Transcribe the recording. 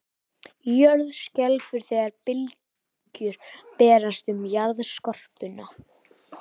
Jörð skelfur þegar bylgjur berast um jarðskorpuna.